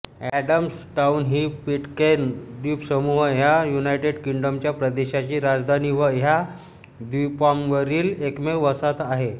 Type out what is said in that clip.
Adamstown ही Pitcairn द्वीपसमूह ह्या युनायटेड किंग्डमच्या प्रदेशाची राजधानी व ह्या द्वीपांवरील एकमेव वसाहत आहे